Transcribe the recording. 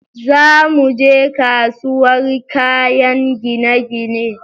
Za muje kasuwar kayan gine-gine